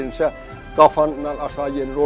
Yenicə qapıdan aşağı yenilir.